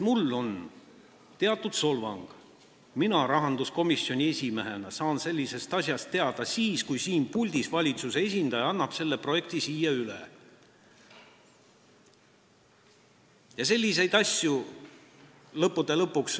Mulle on see nagu teatud solvang, sest mina rahanduskomisjoni esimehena saan sellisest asjast teada siis, kui siin puldis valitsuse esindaja annab selle projekti üle.